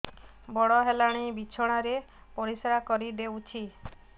ବଡ଼ ହେଲାଣି ବିଛଣା ରେ ପରିସ୍ରା କରିଦେଉଛି